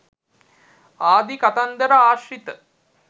ආදී කතන්දර ආශ්‍රිත